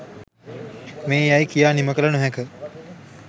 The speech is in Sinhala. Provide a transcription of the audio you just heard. මේ යැයි කියා නිම කළ නොහැක.